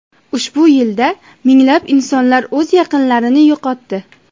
Ushbu yilda minglab insonlar o‘z yaqinlarini yo‘qotdi.